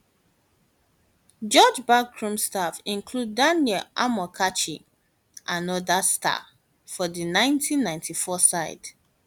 george backroom staff includes daniel amokachi anoda star of di 1994 side